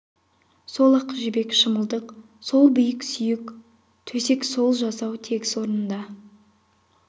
сол ақ жібек шымылдық сол биік сүйек төсек сол жасау тегіс орнында